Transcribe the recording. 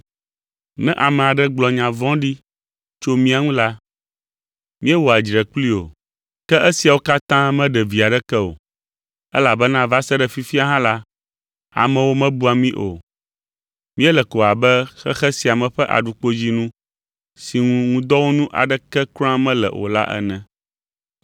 Ne ame aɖe gblɔ nya vɔ̃ɖi tso mía ŋu hã la, míewɔa dzre kplii o. Ke esiawo katã meɖe vi aɖeke o, elabena va se ɖe fifia hã la, amewo mebua mí o. Míele ko abe xexe sia me ƒe aɖukpodzinu si ŋu ŋudɔwɔnu aɖeke kura mele o la ene.